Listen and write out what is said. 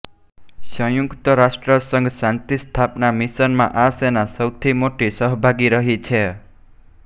સંયુક્ત રાષ્ટ્રસંઘ શાંતિસ્થાપના મિશનમાં આ સેના સૌથી મોટી સહભાગી રહી છે